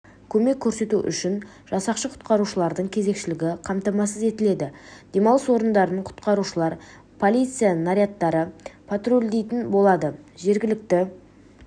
көмек көрсету үшін жасақшы-құтқарушылардың кезекшілігі қамтамасыз етіледі демалыс орындарын құтқарушылар полиция нарядтары патрульдейтін болады жергілікті